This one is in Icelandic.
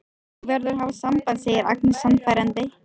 Þú verður að hafa samband, segir Agnes sannfærandi.